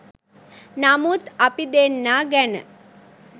නමුත් අපි දෙන්නා ගැන